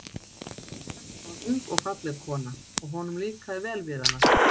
Þetta var ung og falleg kona, og honum líkaði vel við hana.